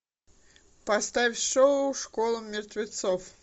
поставь шоу школа мертвецов